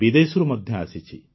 ବିଦେଶରୁ ମଧ୍ୟ ଆସିଛି